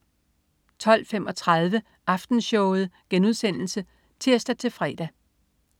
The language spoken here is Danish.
12.35 Aftenshowet* (tirs-fre)